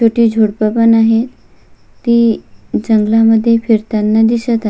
छोटे झुडप पण आहे ती जंगल मध्ये फिरताना दिसत आ--